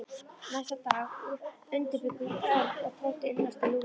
Næsta dag undirbjuggu Örn og Tóti innrás til Lúlla.